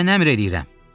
Mən əmr eləyirəm.